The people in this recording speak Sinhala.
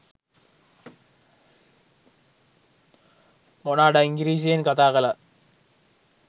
මොන අඩ ඉන්ගිරිසියෙන් කතා කලත්.